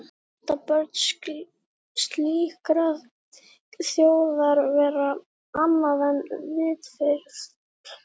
Geta börn slíkrar þjóðar verið annað en vitfirrt?